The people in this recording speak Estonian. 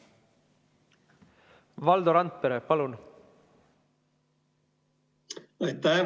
Valdo Randpere, palun!